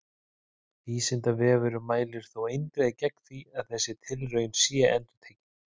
Vísindavefurinn mælir þó eindregið gegn því að þessi tilraun sé endurtekin!